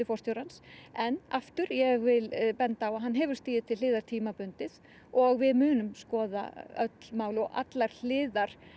forstjórans en aftur ég vil benda á að hann hefur stigið til hliðar tímabundið og við munum skoða öll mál og allar hliðar